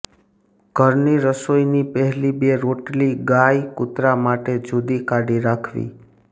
ઘરની રસોઈ ની પહેલી બે રોટલી ગાય કુતરા માટે જુદી કાઢી રાખવી